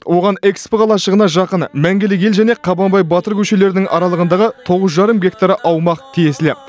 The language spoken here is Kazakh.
оған экспо қалашығына жақын мәңгілік ел және қабанбай батыр көшелерінің аралығындағы тоғыз жарым гектар аумақ тиесілі